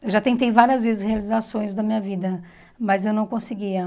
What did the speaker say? Eu já tentei várias vezes realizar sonhos da minha vida, mas eu não conseguia.